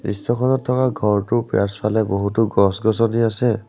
দৃশ্যখনত থকা ঘৰটোৰ পিয়াছফালে বহুতো গছ-গছনি আছে।